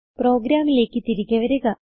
പ്രോഗ്രാമിലേക്ക് തിരികെ വരിക